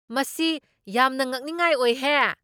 ꯃꯁꯤ ꯌꯥꯝꯅ ꯉꯛꯅꯤꯡꯉꯥꯏ ꯑꯣꯏꯍꯦ !